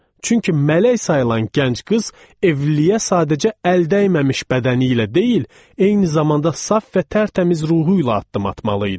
Çünki mələk sayılan gənc qız evliliyə sadəcə əldəyəmməmiş bədəni ilə deyil, eyni zamanda saf və tərtəmiz ruhu ilə addım atmalı idi.